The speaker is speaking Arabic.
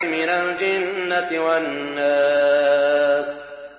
مِنَ الْجِنَّةِ وَالنَّاسِ